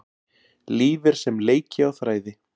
Líf er sem leiki á þræði.